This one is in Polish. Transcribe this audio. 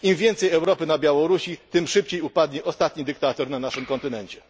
Im więcej Europy na Białorusi, tym szybciej upadnie ostatni dyktator na naszym kontynencie.